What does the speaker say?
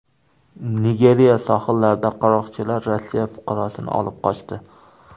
Nigeriya sohillarida qaroqchilar Rossiya fuqarosini olib qochdi.